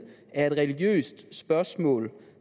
er et religiøst spørgsmål